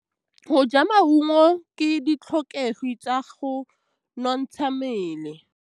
Go ja maungo ke ditlhokegô tsa go nontsha mmele.